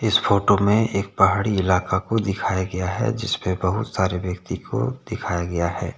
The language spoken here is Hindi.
इस फोटो में एक पहाड़ी इलाका को दिखाया गया है जिस पर बहुत सारे व्यक्ति को दिखाया गया है।